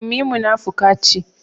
Ummi munafuka ce